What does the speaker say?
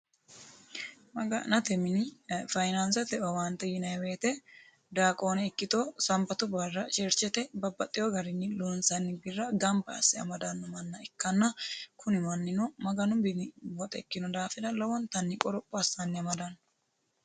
maga'nate minenna faanaansete owaante yinaa woyite daawoone ikkiti sanbatu barra cherchete babbaxitino birra ganba asse amadanno manna ikkanna kuni mannino ikkino daafira lowontanni qoropho asse amadanno